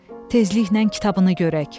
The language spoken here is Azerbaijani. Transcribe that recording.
Tezliklə kitabını görək.